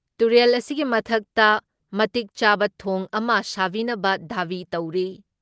ꯇꯨꯔꯦꯜ ꯑꯁꯤꯒꯤ ꯃꯊꯛꯇ ꯃꯇꯤꯛ ꯆꯥꯕ ꯊꯣꯡ ꯑꯃ ꯁꯥꯕꯤꯅꯕ ꯗꯥꯕꯤ ꯇꯧꯔꯤ ꯫